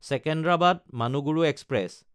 চিকিউণ্ডাৰাবাদ–মানুগুৰু express